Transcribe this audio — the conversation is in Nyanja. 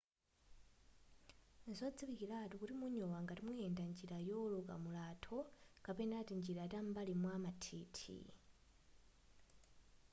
nzodziwikilatu kuti munyowa ngati muyenda njira yooloka mulatho kapena tinjira tam'mbali mwa mathithi